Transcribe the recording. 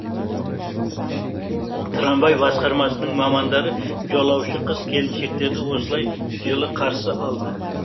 трамвай басқармасының мамандары жолаушы қыз келіншектерді осылай жылы қарсы алды